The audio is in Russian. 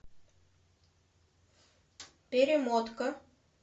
перемотка